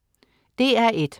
DR1: